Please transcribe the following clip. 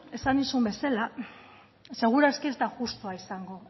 esan nizun bezala seguraski ez da justua izango